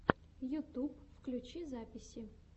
ютуб включи записи